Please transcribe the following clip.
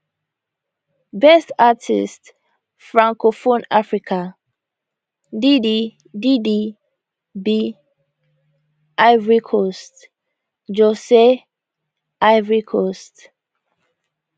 best artist francophone africa didi didi b ivory coast josey ivory coast